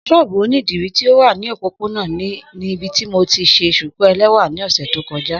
Sóóbú onidiri ti o wa ni opopona ni ibiti mo ti ṣe shuku ẹlẹwa ni ọsẹ to kọja.